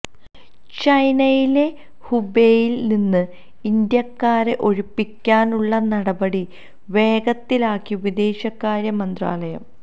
ചൈനയിലെ ഹുബെയിൽ നിന്ന് ഇന്ത്യക്കാരെ ഒഴിപ്പിക്കാനുള്ള നടപടി വേഗത്തിലാക്കി വിദേശകാര്യ മന്ത്രാലയം